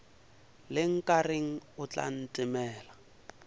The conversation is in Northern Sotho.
le nkareng o tla ntemela